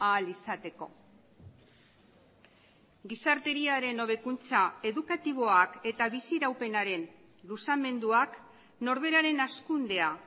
ahal izateko gizarteriaren hobekuntza edukatiboak eta biziraupenaren luzamenduak norberaren hazkundea